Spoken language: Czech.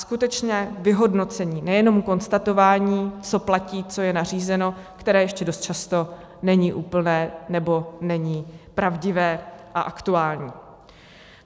Skutečně vyhodnocení, nejenom konstatování, co platí, co je nařízeno, které ještě dost často není úplné nebo není pravdivé a aktuální.